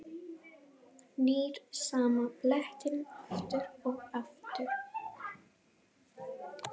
Hann var eitthvað að tala um bækur.